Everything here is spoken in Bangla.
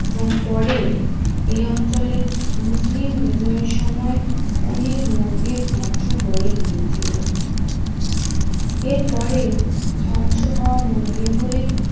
এবং পরে এই অঞ্চলের মুসলিম বিজয়ের সময় অনেক মন্দির ধ্বংস হয়ে গিয়েছিল এরপরে ধ্বংস হওয়া মন্দিরগুলি